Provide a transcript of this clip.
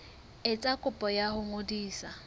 etsa kopo ya ho ngodisa